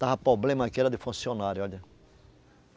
Estava problema aqui era de funcionário, olha.